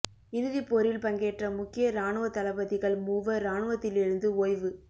இறுதிப் போரில் பங்கேற்ற முக்கிய இராணுவத் தளபதிகள் மூவர் இராணுவத்திலிருந்து ஓய்வு